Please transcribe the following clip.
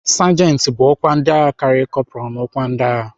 Sajenti bụ ọkwa ndịagha karịrị kọpral n'ọkwa ndịagha..